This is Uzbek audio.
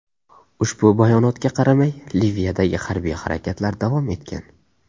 Ushbu bayonotga qaramay Liviyadagi harbiy harakatlar davom etgan.